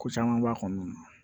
Ko caman b'a kɔnɔna na